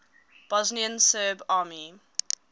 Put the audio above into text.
bosnian serb army